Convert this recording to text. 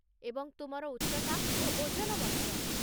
ଏବଂ ତୁମର ଉଚ୍ଚତା ଓ ଓଜନ ମଧ୍ୟ।